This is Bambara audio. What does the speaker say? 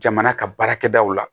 Jamana ka baarakɛdaw la